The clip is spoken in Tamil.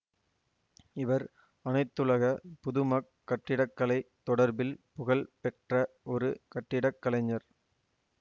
இவர் அனைத்துலக புதுமக் கட்டிடக்கலை தொடர்பில் புகழ் பெற்ற ஒரு கட்டிடக்கலைஞர்